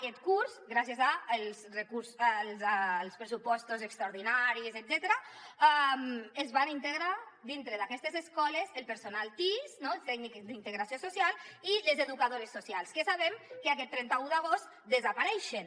aquest curs gràcies als pressupostos extraordinaris etcètera es van integrar dintre d’aquestes escoles el personal tis els tècnics d’integració social i les educadores socials que sabem que aquest trenta un d’agost desapareixen